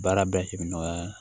Baara bɛɛ himinen